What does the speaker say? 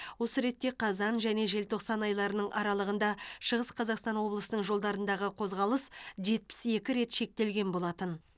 осы ретте қазан және желтоқсан айларының аралығында шығыс қазақстан облысының жолдарындағы қозғалыс жетпіс екі рет шектелген болатын